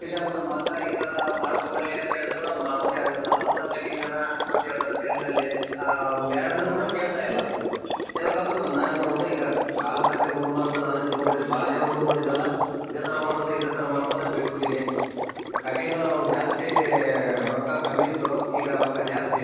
ನಮ್ ಮಗ್ಗ ಈ ತರ ಮಾಡ್ಕೋ ಬರ್ಲಿ ಹೇಳಿದ್ರು ಕೂಡ ಅವ್ನೆ ಹಂಗ ಸಲ್ಮಾನ್ ಖಾನ್ ಕಟಿಂಗ್ ನಾನಾ ಅಂತ ಹೇಳ್ತಾನೆ ತೆಲುಗನಲ್ಲಿ ಬೇಡ ಅಂದ್ರು ಕೂಡ ಹೇಳ್ತಾ ಇಲ್ಲ ಕೇಳ್ದೆ ಹೋದ್ರೆ ನಾವ್ ಏನ್ ಮಾಡಬೇಕು ಈಗ ಕಾಲಕ್ ತಕ್ಕನಂಗ್ ಹುಡುಗ್ರು ನೋಡಿದ್ನಲ್ ಇದೆ ತರ ಥರ ಮಾಡ್ಕೋ ಇದೆ ತರ ಥರ ಮಾಡ್ಕೋ ಅಂತ ಬಿಟ್ ಬಿಟ್ಟಿದೀನಿ ಕಟ್ಟಿಂಗು ಅವ್ರ್ ಜಾಸ್ತಿ ರೊಕ್ಕ ಕಮ್ಮಿ ಇತ್ತು ಈಗ ರೊಕ್ಕ ಜಾಸ್ತಿ .